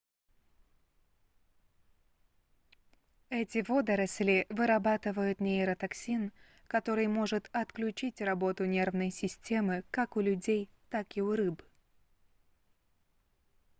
эти водоросли вырабатывают нейротоксин который может отключить работу нервной системы как у людей так и у рыб